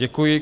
Děkuji.